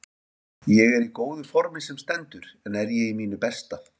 Ég er í góðu formi sem stendur en er ég í mínu besta?